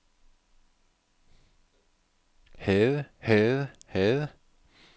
havde havde havde